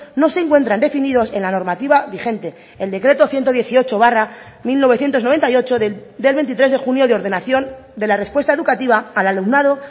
no se encuentran definidos en la normativa vigente el decreto ciento dieciocho barra mil novecientos noventa y ocho del veintitrés de junio de ordenación de la respuesta educativa al alumnado